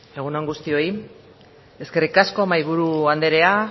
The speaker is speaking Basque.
egun on guztioi eskerrik asko mahaiburu anderea